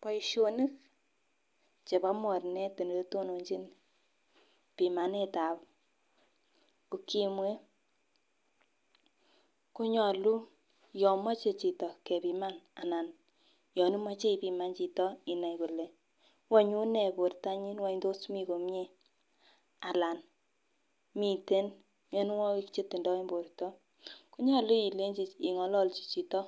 Boishoni chebo moronet oletononchin pimanetab ukimwi konyolu yon moche chito kepima anan yon imoche ipiman chito inai Ile wany unee bortanyin wany tos Mii komie alan miten mionwokik chetindo en borto konyolu ingololji chito